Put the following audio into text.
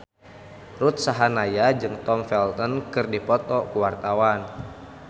Ruth Sahanaya jeung Tom Felton keur dipoto ku wartawan